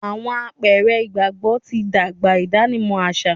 Awọn àpẹrẹ ìgbàgbọ tí n dàgbà ìdánimọ̀ aṣa